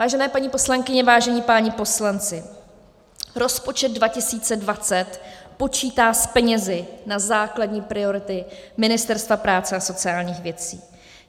Vážené paní poslankyně, vážení páni poslanci, rozpočet 2020 počítá s penězi na základní priority Ministerstva práce a sociálních věcí.